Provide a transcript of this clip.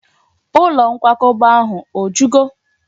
Ụlọ nkwakọba ahụ o jugo?